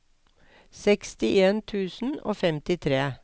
sekstien tusen og femtitre